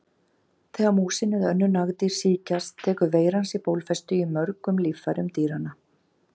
Þegar músin eða önnur nagdýr sýkjast tekur veiran sér bólfestu í mörgum líffærum dýranna.